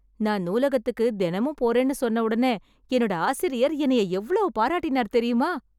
நான் நூலகத்துக்கு தினமும் போறேன்னு சொன்ன உடனே என்னோட ஆசிரியர் என்னய எவ்வளவு பாராட்டினார் தெரியுமா